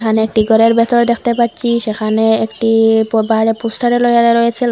এখানে একটি ঘরের ভেতর দেখতে পাচ্ছি সেখানে একটি পো বাইরে পোস্টারও লাগানো রয়েছে।